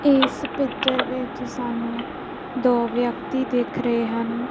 ਇਸ ਪਿੱਚਰ ਵਿੱਚ ਸਾਨੂੰ ਦੋ ਵਿਅਕਤੀ ਦਿੱਖ ਰਹੇ ਹਨ।